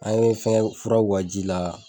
An ye fɛngɛ fura k'u ka ji la.